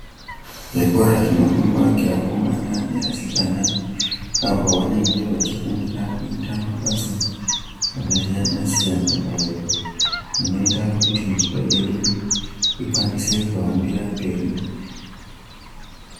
Zvikora zvinofundwa ngeakomana neasikana apo vanenge vachifundira kuita mabasa akasiyana-siyana ayo anoita kuti nyika yedu ikwanise kuhambira mberi.